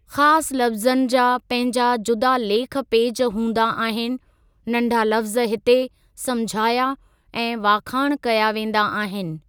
खास लफ्ज़नि जा पहिंजा जुदा लेख पेज हूंदा आहिनि, नंढा लफ्ज़ हिते समझाया ऐं वाखाण कया वेंदा आहिनि।